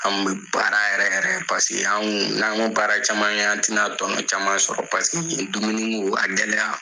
An bɛ baara yɛrɛ yɛrɛ paseke an kun n'an ma baara caman kɛ an tɛna tɔnɔ caman sɔrɔ paseke dumuni ko a gɛlɛya